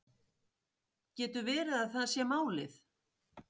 Getur verið að það sé málið